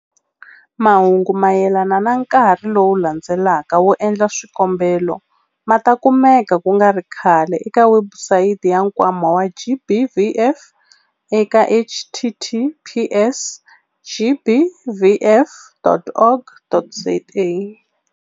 Mahungu mayelana na nkarhi lowu landzelaka wo endla swikombelo ma ta kumeka ku nga ri khale eka webusayiti ya Nkwama wa GBVF eka- https- gbvf.org.za.